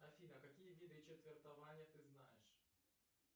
афина какие виды четвертования ты знаешь